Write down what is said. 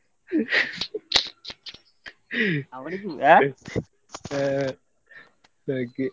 ಹಾಗೆ.